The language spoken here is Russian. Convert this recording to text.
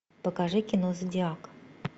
покажи кино зодиак